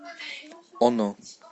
оно